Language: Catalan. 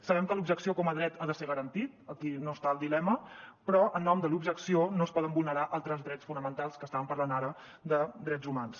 sabem que l’objecció com a dret ha de ser garantit aquí no hi ha el dilema però en nom de l’objecció no es poden vulnerar altres drets fonamentals que estàvem parlant ara de drets humans